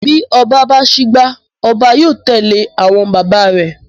Bí oba bá sígbá, oba yóò tèlé àwon baba rèè.